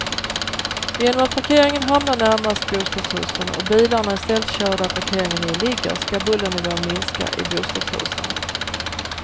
Genom att parkeringen hamnar närmast bostadshusen och bilarna istället kör där parkeringen nu ligger ska bullernivån minska i bostadshusen.